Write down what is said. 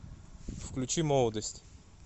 включи молодость